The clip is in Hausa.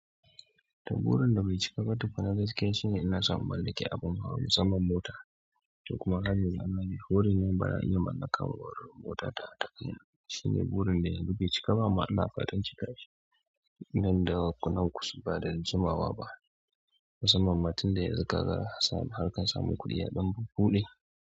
Ta burin da bai cika ba tukun na gaskiya shine ina so in mallaki abun hawa musamman mota. Kuma har yanzu Allah bai horemun ba a iya mallakar mota ta takai na. Shine burin da yanzu bai cika ba. Kuma ina fatan cikashi nan da konan kusa ba da jimawa ba. Musamman tun da yanzu ka ga ana samun harkar samun kuɗi yan buɗe.